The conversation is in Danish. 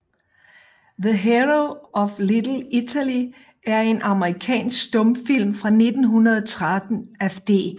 The Hero of Little Italy er en amerikansk stumfilm fra 1913 af D